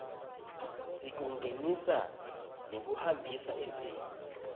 sekungenisa nekuhambisa eveni